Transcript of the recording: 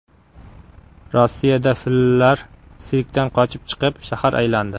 Rossiyada fillar sirkdan qochib chiqib, shahar aylandi .